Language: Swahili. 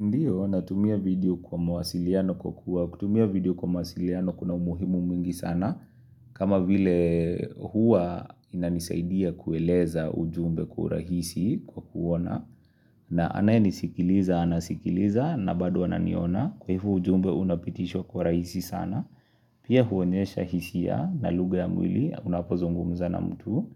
Ndiyo, natumia video kwa mawasiliano kwa kuwa, kutumia video kwa mawasiliano kuna umuhimu mwingi sana, kama vile huwa inanisaidia kueleza ujumbe kwa ura hisi kwa kuona, na anayenisikiliza, anasikiliza, na bado anani ona, kwa hivo ujumbe unapitishwa kwa ura hisi sana, pia huonyesha hisia na lugha ya mwili, unapozongumza na mtu,